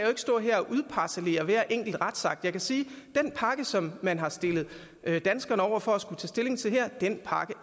stå her og udparcellere hver enkelt retsakt jeg kan sige at den pakke som man har stillet danskerne over for at skulle tage stilling til her